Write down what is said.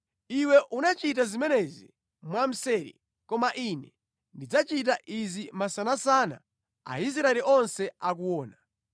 Iwe unachita zimenezi mwamseri koma Ine ndidzachita izi masanasana Aisraeli onse akuona.’ ”